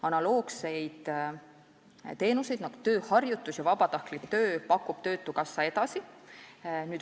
Analoogseid teenuseid, nagu tööharjutus ja vabatahtlik töö, pakub töötukassa edasi.